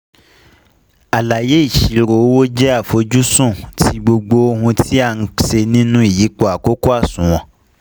Àlàyé ìṣirò owó jẹ́ àfojúsùn ti gbogbo ohun tí a n se nínú ìyípo àkókò àsùnwọ̀n